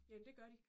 Jamen, det gør de